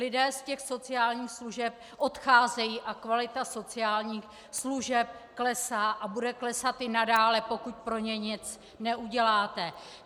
Lidé z těch sociálních služeb odcházejí a kvalita sociálních služeb klesá a bude klesat i nadále, pokud pro ně nic neuděláte.